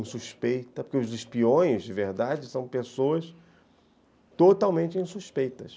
Insuspeita, porque os espiões, de verdade, são pessoas totalmente insuspeitas.